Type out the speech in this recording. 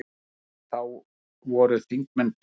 Þá voru þingmenn tveir.